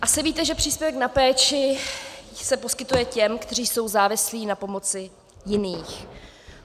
Asi víte, že příspěvek na péči se poskytuje těm, kteří jsou závislí na pomoci jiných.